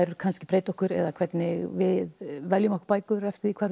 kannski breyta okkur eða hvernig við veljum okkur bækur eftir því hvar við